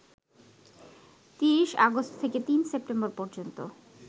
৩০ August থেকে ৩ September পর্যন্ত